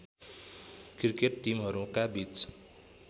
cricket टिमहरूका बीच